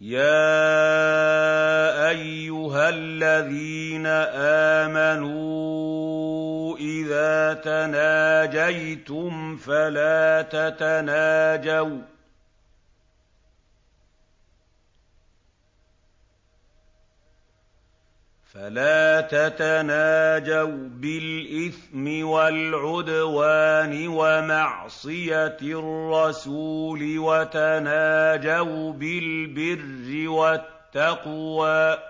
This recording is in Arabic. يَا أَيُّهَا الَّذِينَ آمَنُوا إِذَا تَنَاجَيْتُمْ فَلَا تَتَنَاجَوْا بِالْإِثْمِ وَالْعُدْوَانِ وَمَعْصِيَتِ الرَّسُولِ وَتَنَاجَوْا بِالْبِرِّ وَالتَّقْوَىٰ ۖ